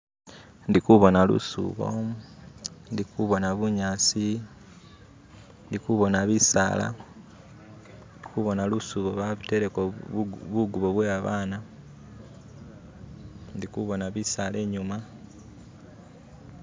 Ndikubona lushubo, ndikubona bunyasi ndikubona bisala. Ndikubona lushubo bateleko bugubo bwe babana, ndikubona bisala inyuma.